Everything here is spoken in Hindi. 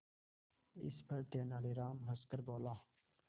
इस पर तेनालीराम हंसकर बोला